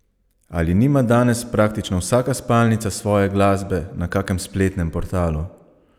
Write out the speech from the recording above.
Ali nima danes praktično vsaka spalnica svoje glasbe na kakem spletnem portalu?